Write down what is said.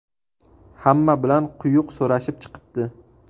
Hamma bilan quyuq so‘rashib chiqibdi.